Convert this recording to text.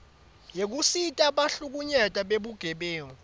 yekusita bahlukunyetwa bebugebengu